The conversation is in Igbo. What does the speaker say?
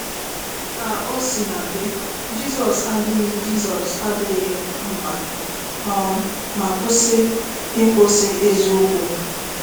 Ka o sina dị, Jizọs adaghị Jizọs adaghị mbà um ma kwụsị ikwusa eziokwu.